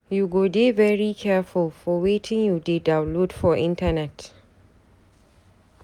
you go dey very careful for wetin you dey download for internet.